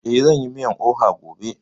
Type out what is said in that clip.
Eh, zan yi miyan oha gobe